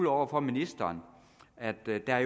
over for ministeren at der der